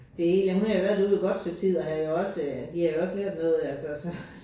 Det hele hun havde jo været derude et godt stykke tid og havde jo også de havde jo også lært noget altså så